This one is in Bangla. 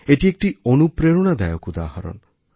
এটি একটি অনুপ্রেরণাদায়ক উদাহরণ